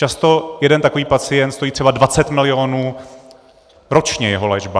Často jeden takový pacient stojí třeba 20 milionů ročně, jeho léčba.